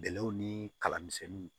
Bɛlɛw ni kala misɛnninw